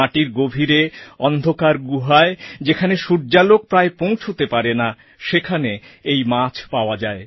মাটির গভীরে অন্ধকার গুহায় যেখানে সূর্যালোক প্রায় পৌঁছতে পারেনা সেখানে এই মাছ পাওয়া যায়